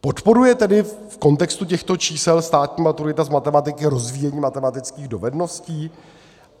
Podporuje tedy v kontextu těchto čísel státní maturita z matematiky rozvíjení matematických dovedností?